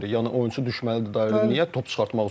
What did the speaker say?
Yəni oyunçu düşməlidir dairəyə top çıxartmaq üçün.